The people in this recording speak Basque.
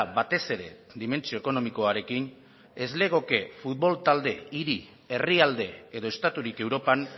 batez ere dimentsio ekonomikoarekin ez legoke futbol talde hiri herrialde edo estaturik europan